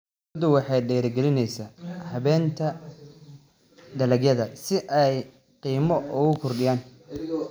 Dawladdu waxay dhiirigelinaysaa habaynta dalagyada si ay qiimo ugu kordhiyaan.